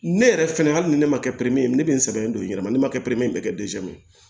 Ne yɛrɛ fɛnɛ hali ni ne ma kɛ ye ne bɛ n sɛbɛn don i yɛrɛ ma ne ma kɛ bɛɛ kɛ ye